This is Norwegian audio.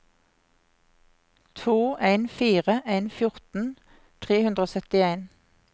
to en fire en fjorten tre hundre og syttien